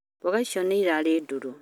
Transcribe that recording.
mboga ĩcio no ĩrĩ ndrũrũ